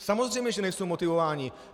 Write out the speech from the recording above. Samozřejmě že nejsou motivováni.